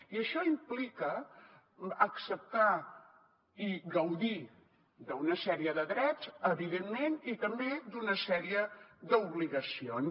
i això implica acceptar i gaudir d’una sèrie de drets evidentment i també d’una sèrie d’obligacions